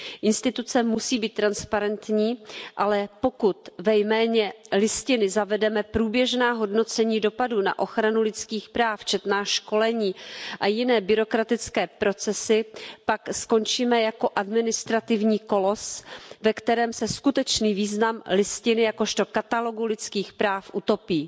Instituce musí být transparentní, ale pokud ve jméně listiny zavedeme průběžná hodnocení dopadu na ochranu lidských práv, četná školení a jiné byrokratické procesy, pak skončíme jako administrativní kolos, ve kterém se skutečný význam listiny jakožto katalogu lidských práv utopí.